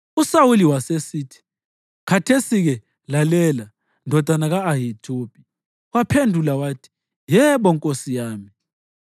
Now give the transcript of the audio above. USawuli wasesithi, “Khathesi-ke lalela, ndodana ka-Ahithubi.” Waphendula wathi, “Yebo, nkosi yami.”